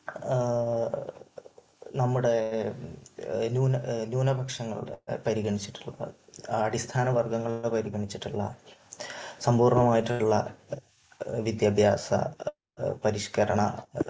നമ്മുടെ ന്യൂനപക്ഷങ്ങളെ പരിഗണിച്ചിട്ടുള്ളതാണ്. അടിസ്ഥാന വർഗങ്ങളെ പരിഗണിച്ചിട്ടുള്ളതാണ്. സമ്പൂർണമായിട്ടുള്ള വിദ്യാഭ്യാസ പരിഷ്കരണ